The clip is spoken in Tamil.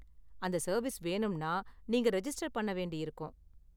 அந்த சர்வீஸ் வேணும்னா நீங்க ரெஜிஸ்டர் பண்ண வேண்டியிருக்கும்.